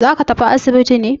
Za ka tafi asibiti ne?